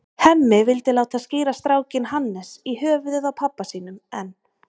Hemmi vildi láta skíra strákinn Hannes, í höfuðið á pabba sínum, en